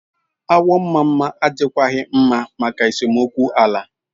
Awo mama adikwaghị mma maka esemokwu ala.